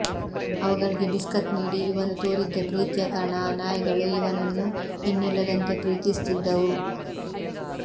ಅವುಗಳಿಗೆ ಬಿಸ್ಕತ್ ನೀಡಿ ಇವನು ತೋರಿದ್ದ ಪ್ರೀತಿಯ ಕಾರಣ ಆ ನಾಯಿಗಳು ಇವನನ್ನು ಇನ್ನಿಲ್ಲದಂತೆ ಪ್ರೀತಿಸಿದ್ದವು